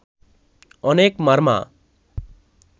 অনেক মারমা